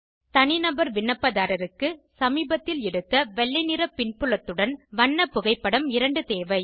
தனிநபர் விண்ணப்பதாரருக்கு சமீபத்தில் எடுத்த வெள்ளை நிற புன்புலத்துடன் வண்ண புகைப்படம் 2 தேவை